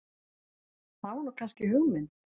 Það er nú kannski hugmynd.